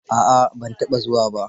A'a ban taɓa zuwa ba.